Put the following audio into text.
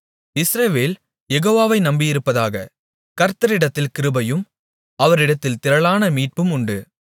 இஸ்ரவேல் யெகோவாவை நம்பியிருப்பதாக கர்த்தரிடத்தில் கிருபையும் அவரிடத்தில் திரளான மீட்பும் உண்டு